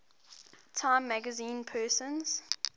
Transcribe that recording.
time magazine persons